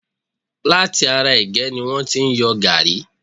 Láti ará ẹ̀gẹ́ ni wọ́n ti yọ gaàrí.